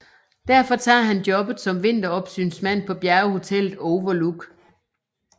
Derfor tager han jobbet som vinteropsynsmand på bjerghotellet Overlook